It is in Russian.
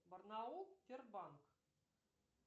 барнаул сбербанк